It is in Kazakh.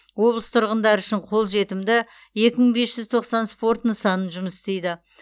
облыс тұрғындары үшін қолжетімді екі мың бес жүз тоқсан спорт нысаны жұмыс істейді